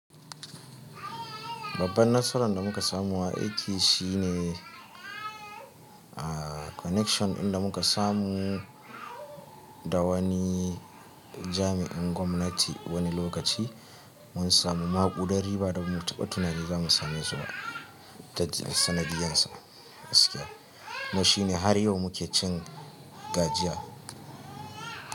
Babban nasara da muka samu a aiki shine a connection inda muka samu da wani jami'in gwamnati wani lokaci mun samu maƙudari ba da mu taɓa tunanin za mu same zuwa da sanadiyan sa. Mu shine har yau mu ke cin gajiya.